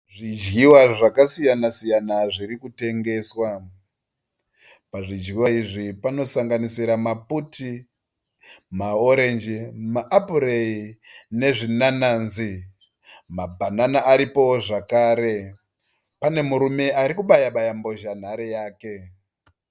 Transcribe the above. Zvidyiwa zvakasiyana siyana zvirikutengeswa. Pazvidyiwa izvi panosanganisira maputi maorenji ma apureyi nezvinananzi. Mabanana aripoo zvakare. Panemurume arikubaya baya mbozhanhare yake.